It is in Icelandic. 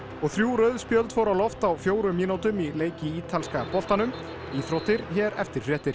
og þrjú rauð spjöld fóru á loft á fjórum mínútum í leik í ítalska boltanum íþróttir hér eftir fréttir